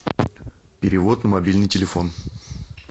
перевод на мобильный телефон